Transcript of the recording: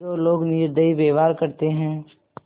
जो लोग निर्दयी व्यवहार करते हैं